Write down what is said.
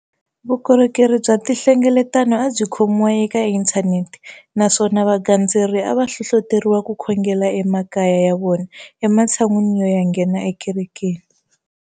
Vukorhokeri bya tinhlengeletano a byi khomiwa eka inthanete naswona vagandzeri a va hlohloteriwa ku khongela emakaya ya vona ematshan'wini yo ya nghena ekerekeni.